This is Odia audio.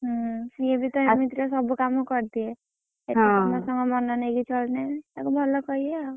ହୁଁ ସେ ବି ଏମିତିରେ ସବୁ କାମ କରିଦିଏ ସେଠି ସମସ୍ତଙ୍କର ମନ ନେଇ ଚଳିଲେ ତାକୁ ଭଲ କହିବେ ଆଉ।